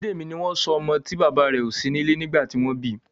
Bidemi ní wón sọ ọmọ tí bàbá rẹ o sí nílé nígbà tí wón bí